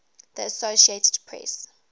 the associated press